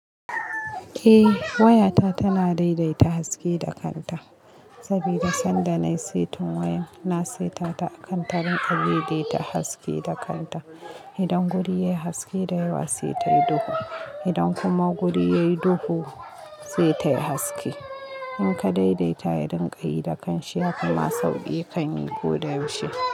Eh waya ta tana daidaita haske da kanta saboda sanda na setin wayan na setata akan tarin abin dai ta haske da kanta. Idan guri yayi haske da yawa sai tayi duhu idan kuma guri yayi duhu sai tayi haske. In ka daidaita ya rinƙayi da kanshi yafima sauki kan yi ko da yaushe.